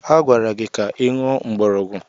Agwara gị ka ị ṅụọ mgbọrọgwụ!